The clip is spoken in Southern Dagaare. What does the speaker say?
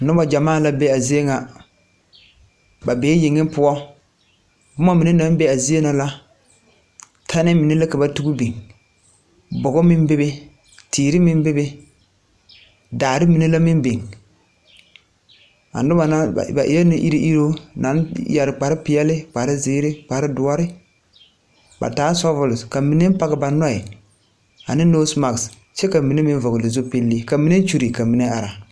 Bibilii bata la are a zie nyɛ. Ba e la naasaalbiire are kyɛ ka filaaware mine be a ba niŋeŋ are kyɛ ka ba pɛgle boma ba nuure pʋɔ ka a yi taa.